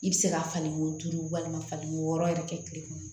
I bɛ se ka fani ko duuru walima faliko wɔɔrɔ yɛrɛ kɛ tile kɔnɔ